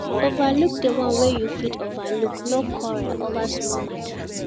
Overlook di one wey you fit overlook no quarrel over small matter